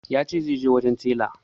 Ya ce zai je wajen tela